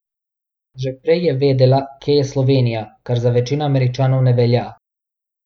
Že prej je vedela, kje je Slovenija, kar za večino Američanov ne velja.